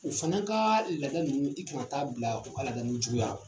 O fana kaa laada ninnu i ka taa bila u ka laada ninnu juguyarɔ